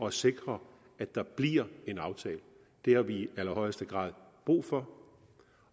at sikre at der bliver en aftale det har vi i allerhøjeste grad brug for